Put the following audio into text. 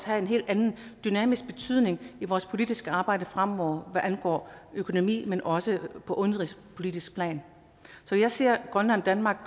have en helt anden dynamisk betydning i vores politiske arbejde fremover hvad angår økonomi men også på udenrigspolitisk plan så jeg ser grønland og danmark